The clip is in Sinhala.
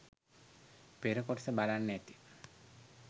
පෙර කොටස බලන්න ඇති